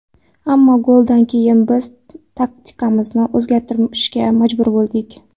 Ammo goldan keyin biz taktikamizni o‘zgartirishga majbur bo‘ldik.